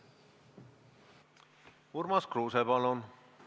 Urmas Kruuse, palun!